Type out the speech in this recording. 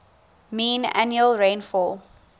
mean annual rainfall